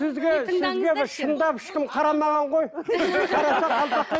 сізге шындап ешкім қарамаған ғой